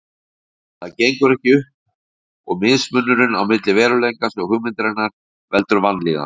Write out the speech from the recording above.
En það gengur ekki upp og mismunurinn á milli veruleikans og hugmyndarinnar veldur vanlíðan.